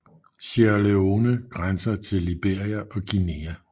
Sierra Leone grænser til Liberia og Guinea